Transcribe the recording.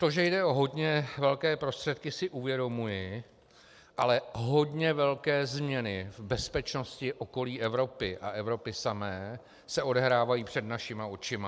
To, že jde o hodně velké prostředky, si uvědomuji, ale hodně velké změny v bezpečnosti okolí Evropy a Evropy samé se odehrávají před našima očima.